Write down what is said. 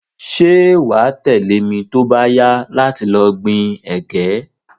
Se wa tẹ̀lẹ́ mi to ba yá láti lo gbin ẹ̀gẹ́